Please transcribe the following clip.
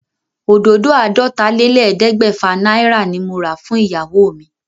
Òdòdó àádọ́tálélẹ́ẹ̀ẹ́dẹ́gbẹ́fà náírà ni mo rà fún ìyàwó mi.